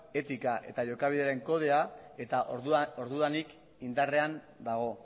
etika eta jokabidearen kodea eta ordudanik indarrean dago